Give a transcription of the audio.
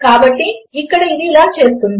కాబట్టి ఇక్కడ అది ఇలా చేస్తుంది